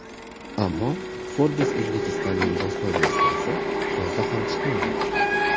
Ammo Forbes Uzbekistan’ning bosma versiyasi yozda ham chiqmadi.